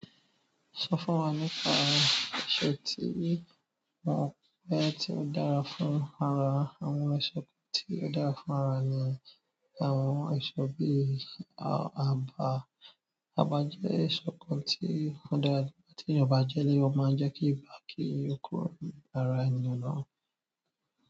Sọ fún wa nípa àwọn èso tí mo mọ̀ pé tí ó dára fún ara. Àwọn èso tí ó dára ní ara ni àwọn èso bí aba, aba jẹ èso kan tí ó dára tí eyan bá jẹ ó má jẹ kí ibà kí ó kúrò ní ara ènìyàn.